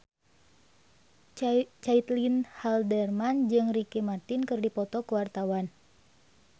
Caitlin Halderman jeung Ricky Martin keur dipoto ku wartawan